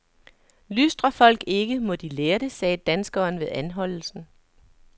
Lystrer folk ikke, må de lære det, sagde danskeren ved anholdelsen.